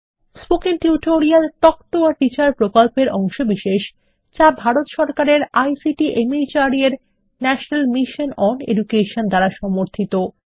spoken tutorial talk to a teacher প্রকল্পের অংশবিশেষ যা ভারত সরকারের আইসিটি মাহর্দ এর ন্যাশনাল মিশন ওন এডুকেশন দ্বারা সমর্থিত